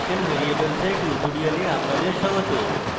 special variables এর tutorial আপনাদের স্বাগত